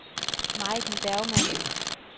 Majken Bergmann